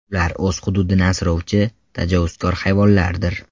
Ular o‘z hududini asrovchi, tajovuzkor hayvonlardir.